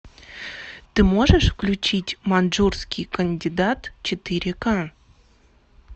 ты можешь включить маньчжурский кандидат четыре ка